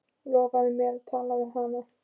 Lofaðu mér að tala við hana.